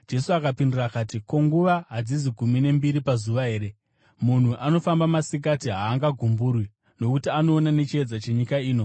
Jesu akapindura akati, “Ko, nguva hadzizi gumi nembiri pazuva here? Munhu anofamba masikati haagumburwi, nokuti anoona nechiedza chenyika ino.